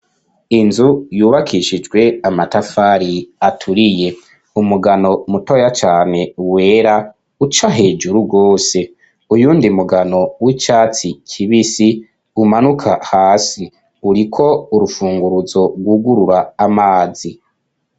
Inzu yubakishijwe amatafari aturiye umugano mutoya cane wera uca hejuru rwose uyundi mugano w'icatsi kibisi umanuka hasi uriko urufunguruzo rwugurura amazi.